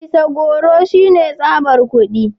Fisa goro shine tsabar kudi